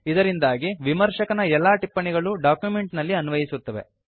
ಇದರಿಂದಾಗಿ ವಿಮರ್ಶಕನ ಎಲ್ಲಾ ಟಿಪ್ಪಣಿಗಳು ಡಾಕ್ಯುಮೆಂಟ್ ನಲ್ಲಿ ಅನ್ವಯಿಸುತ್ತವೆ